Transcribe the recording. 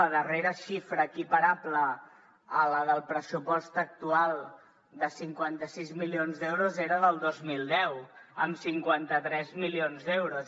la darrera xifra equiparable a la del pressupost actual de cinquanta sis milions d’euros era del dos mil deu amb cinquanta tres milions d’euros